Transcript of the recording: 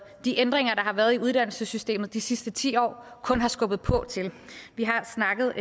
de ændringer der har været i uddannelsessystemet de sidste ti år kun har skubbet på til vi har snakket